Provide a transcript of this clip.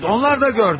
Onlar da gördü.